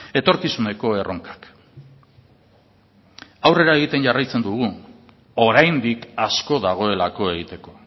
etorkizuneko erronkak aurrera egiten jarraitzen dugu oraindik asko dagoelako egiteko